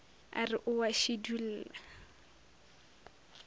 a re o a šidulla